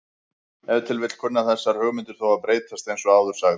Ef til vill kunna þessar hugmyndir þó að breytast eins og áður sagði.